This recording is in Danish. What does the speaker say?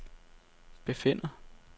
befinder